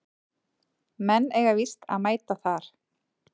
Menn eiga víst að mæta þar